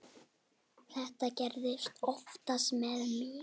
Það gerist oftast með mig.